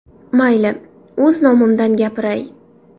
Mayli, o‘z nomimdan gapiray.